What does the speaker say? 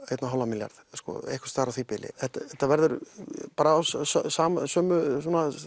einn og hálfan milljarð einhvers staðar á því bili þetta verður af sömu